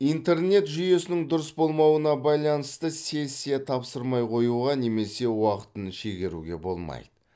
интернет жүйесінің дұрыс болмауына байланысты сессия тапсырмай қоюға немесе уақытын шегеруге болмайды